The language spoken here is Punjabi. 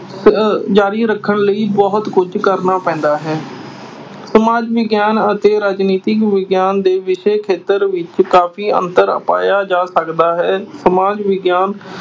ਅਹ ਜਾਰੀ ਰੱਖਣ ਲਈ ਬਹੁਤ ਕੁਝ ਕਰਨਾ ਪੈਂਦਾ ਹੈ। ਸਮਾਜਿਕ ਵਿਗਿਆਨ ਅਤੇ ਰਾਜਨੀਤਿਕ ਵਿਗਿਆਨ ਦੇ ਵਿਸ਼ੇ ਖੇਤਰ ਵਿੱਚ ਕਾਫ਼ੀ ਅੰਤਰ ਪਾਇਆ ਜਾ ਸਕਦਾ ਹੈ।